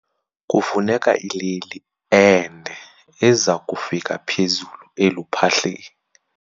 Kufuneka ileli ende eza kufika phezulu eluphahleni.